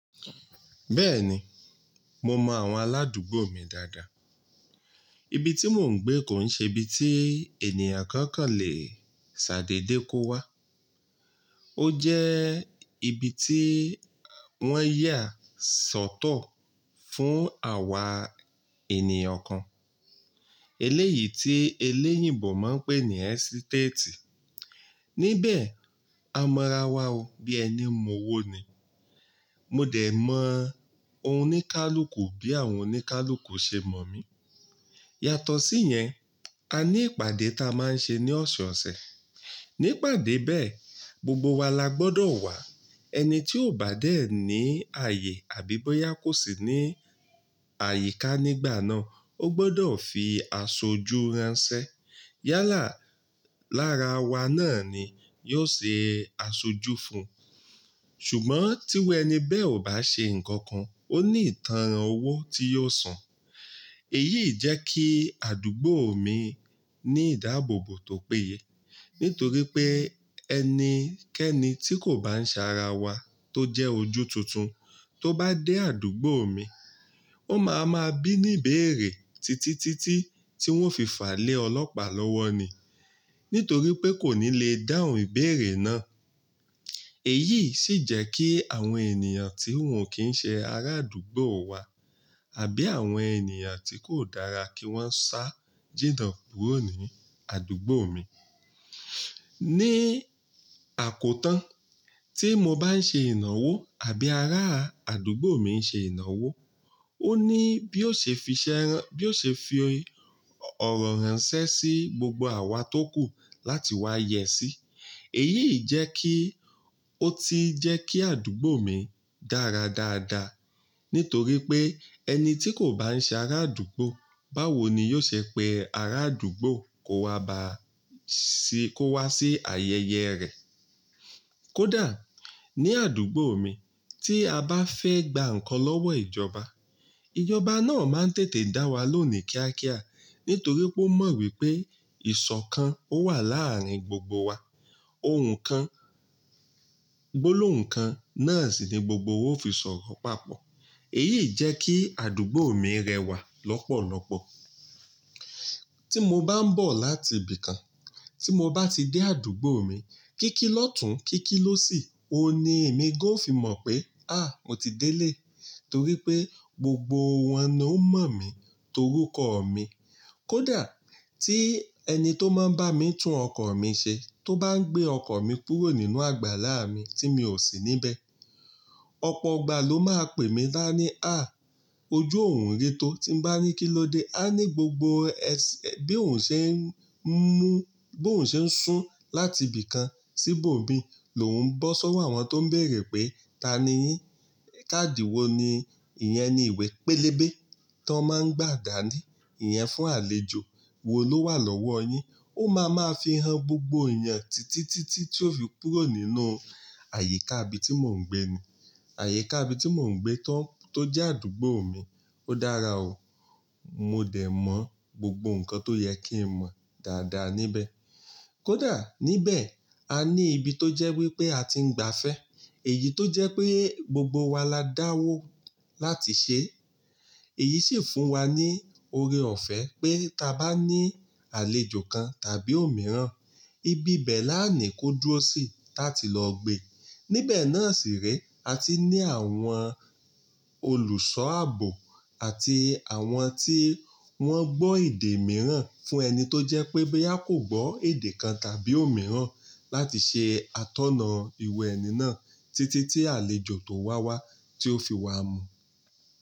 Bẹ́ẹ̀ni, mo mọ àwọn aládùúgbò mi dáadáa. Ibi tí mò ń gbé kò ń ṣe ibi tí ènìyàn kan kàn lè ṣàdédé kó wá. Ó jẹ́ ibi tí wọ́n yà sọ́tọ̀ fún àwa ènìyàn kan. Eléyìí tí eléyìnbò máa ń pè ní ẹ́sítétì. Nibẹ̀, a mọ ara wa o bí ẹni mọ́ owó ni. Mo dẹ̀ mọ oníkálukú bí àwọn oníkálukú ṣe mọ̀ mí. Yàtọ̀ sí yẹn, a ní ìpàdé ta a máa ń ṣe ní ọ̀sẹ̀ ọ̀sẹ̀. Ní ìpàdé bẹ́ẹ̀, gbogbo wa la gbọdọ̀ wá. Ẹni tí ò bá dé ní ààyè àbí bóyá kò sí ní àyíká nígbà náà, ó gbọdọ̀ fi aṣojú ránṣẹ́. Yálà lára wa náà ni yóò ṣe aṣojú fún un. Ṣùgbọ́n tí irú ẹni bẹ́ẹ̀ ò bá ṣe nǹkan kan, ó ní ìtánràn owó tí yóò san. Èyí jẹ́ kí àdúgbò mi ní ìdáàbòbò tó péye. Nítorí pé ẹni kẹ́ẹ́ni tí kò bá ń ṣe ara wa tó jẹ́ ojú tuntun tó bá dé àdúgbò mi, ó máa ma bí ní ìbéèrè títítítí tí wọ́n o fi fà á lé ọlọ́pàá lọ́wọ́ ni. Nítorí pé kò ní lè dáhùn ìbéèrè náà. Èyí sì jẹ́ kí àwọn ènìyàn tí wọ́n o kì ń ṣe ará àdúgbò wa àbí àwọn ènìyàn tí kò dára kí wọ́n sá jìnà kúrò ní àdúgbò mi. Ni àkótán, tí mo bá ń ṣe ìnáwó àbí ará àdúgbò mi ń ṣe ìnáwó, ó ní bí ó ṣe fi iṣẹ́ rán-- bí ó ṣe fi ọ̀rọ̀ ránṣẹ́ sí gbogbo àwa tó kù láti wá yẹ sí. Èyí jẹ́ kí ó ti jẹ́ kí àdúgbò mi dára dáadáa. Nítorí pé ẹni tí kò bá ń ṣe ará àdúgbò, báwo ni yóò ṣe pe ará àdúgbò kó wa bá sí, kó wá sí ayẹyẹ rẹ̀? Kódà ní àdúgbò mi tí a bá fẹ́ gba nǹkan lọ́wọ́ ìjọba, ìjọba náà máa ń tètè dá wa lóun ní kíákíá. Nítorí pé ó mọ wípé ìṣọ̀kan ó wà láàárín gbogbo wa. Ohùn kan, gbólóhùn kan náà sì ni gbogbo wa o fi sọ̀rọ̀ papọ̀. Èyí jẹ́ kí àdúgbò mi rẹwà lọ́pọ̀lọ́pọ̀. Tí mo bá ń bọ̀ láti ibìkan, tí mo bá ti dé àdúgbò mi, kíkí lọ́tùn, kíkí lósì, òun ni èmi gan o fi mọ̀ pé, "à, mo ti délé." Torí pé gbogbo wọn náà ló mọ̀ mí torúkọ mi. Kódà tí ẹni tó máa ń bá mi tún ọkọ̀ mi ṣe tó bá ń gbé ọkọ̀ mi kúrò nínú àgbàlá mi tí mi ò sí níbẹ̀, ọ̀pọ̀ ìgbà ló máa pè mí dá ní, "à, ojú òún rí tó" tí n bá ní kí ló dé, á ní gbogbo ẹs-ẹ́ bí òun ṣe ń mú, bí òun ṣe ń sún láti ibìkan síbò mí ló ń bọ́ sọ́wọ́ àwọn tó ń bèèrè pé, "ta ni yín? Kádì wo ni? Ìyẹn ni ìwé pélébé tó máa ń gbà dá ní. Ìyẹn fún àlejò. Wo ló wà lọ́wọ́ yin?" Ó máa ma fi han gbogbo èèyàn títítítí tí ó fi kúrò nínú àyíká ibi tí mò ń gbé ni. Àyíká ibi tí mò ń gbé tó ń-- tó jẹ́ àdúgbò mi. Ó dára o. Mo dẹ̀ mọ gbogbo nǹkan tó yẹ kí n mọ̀ dáadáa níbẹ̀. Kódà níbẹ̀, a ní ibi tó jẹ́ wípé a ti ń gba afẹ́. Èyí tó jẹ́ pé gbogbo wa la dáwó láti ṣe. Èyí sì fún wa ní oore ọ̀fẹ́ pé tá a bá ní àlejò kan tàbí òmíràn, ibi bẹ́ẹ̀ lánìí kó dúró sí táti lọ gbé. Nibẹ̀ náà sì rí, a ti ní àwọn olùṣọ́ àbò àti àwọn tí wọ́n gbọ́ èdè mìíràn fún ẹni tó jẹ́ pé bóyá kò gbọ́ èdè kan tàbí òmíràn láti ṣe atọ́nà irú ẹni náà títí tí àlejò tó wá wá tí ó fi wá mú.